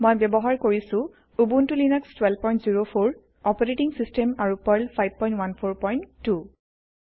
মই ব্যৱহাৰ কৰিছো উবুন্তু লিনাক্স 1204 অপাৰেটিং সিস্টেম আৰু পাৰ্ল 5142